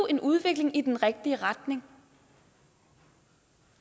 en udvikling i den rigtige retning